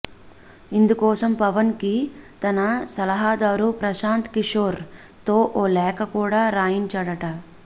ఇందుకోసం పవన్ కి తన సలహాదారు ప్రశాంత్ కిషోర్ తో ఓ లేఖ కూడా రాయించాడట